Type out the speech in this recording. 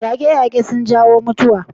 Yaƙe-yaƙe suna jawo mutuwa.